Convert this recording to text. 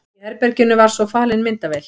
Í herberginu var svo falin myndavél.